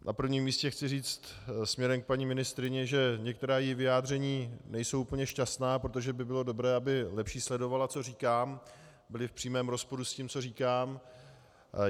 Na prvním místě chci říct směrem k paní ministryni, že některá její vyjádření nejsou úplně šťastná, protože by bylo dobré, aby lépe sledovala, co říkám, byla v přímém rozporu s tím, co říkám.